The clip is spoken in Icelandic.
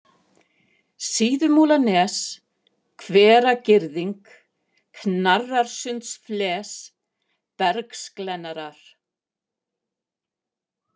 Síðumúlanes, Hveragirðing, Knararsundsfles, Bergsglennarar